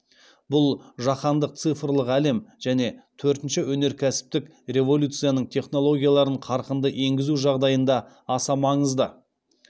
бұл жаһандық цифрлық әлем және төртінші өнеркәсіптік революцияның технологияларын қарқынды енгізу жағдайында аса маңызды